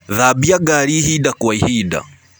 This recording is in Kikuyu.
Thambĩa ngarĩ ĩhĩnda gwa ĩhĩnda.